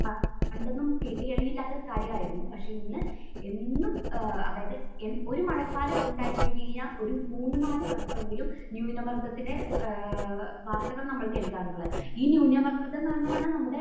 പണ്ടൊന്നും കേട്ടുകേൾവിയില്ലാത്ത കാര്യമായിരുന്നു. പക്ഷെ ഇന്ന് എന്നും ഏഹ് അതായത് എൻ...ഒരു മഴക്കാലം ഉണ്ടായിക്കഴിഞ്ഞ് കഴിഞ്ഞാൽ ഒരു മൂന്ന് നാല് വട്ടമെങ്കിലും ന്യൂനമർദത്തിന് ഏഹ് വാർത്തകൾ നമ്മൾ കേൾക്കാറുള്ളത്. ഈ ന്യൂനമർദം കാരണമാണ് നമ്മുടെ